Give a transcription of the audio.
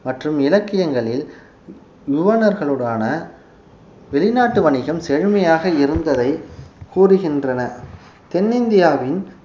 இலக்கியங்களில் யுவனர்களுடனான வெளிநாட்டு வணிகம் செழுமையாக இருந்ததை கூறுகின்றன தென்னிந்தியாவின்